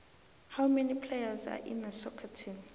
how many players are in a soccer team